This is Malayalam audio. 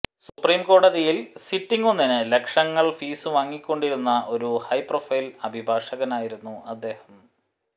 സുപ്രീം കോടതിയിൽ സിറ്റിങ്ങൊന്നിന് ലക്ഷങ്ങൾ ഫീസ് വാങ്ങിക്കൊണ്ടിരുന്ന ഒരു ഹൈ പ്രൊഫൈൽ അഭിഭാഷകനായിരുന്നു അദ്ദേഹം